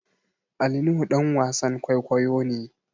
Ali nuhu ɗan wasan kwaikwayo ne